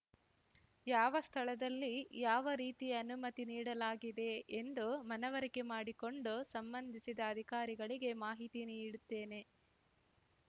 ಯಾವ ಸ್ಥಳದಲ್ಲಿ ಯಾವ ರೀತಿ ಅನುಮತಿ ನೀಡಲಾಗಿದೆ ಎಂದು ಮನವರಿಕೆ ಮಾಡಿಕೊಂಡು ಸಂಬಂಧಿಸಿದ ಅಧಿಕಾರಿಗಳಿಗೆ ಮಾಹಿತಿ ನೀಡುತ್ತೇನೆ